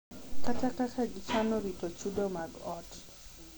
Kata kaka gichano rito chudo mag ot.